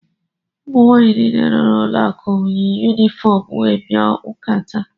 Ụmụnwaanyị niile nọ n’ụlọụka m yi yunifọm wee bia ụka taa.